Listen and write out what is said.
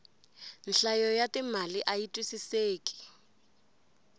nhlayo ya timali ayi twisiseki